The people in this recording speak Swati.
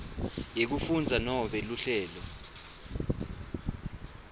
yekufundza nobe luhlelo